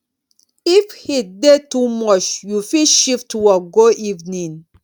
if heat dey too much you fit shift work go evening